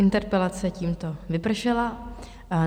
Interpelace tímto vypršela.